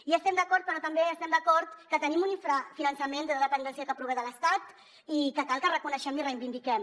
hi estem d’acord però també estem d’acord que tenim un infrafinançament de dependència que prové de l’estat i que cal que reconeguem i reivindiquem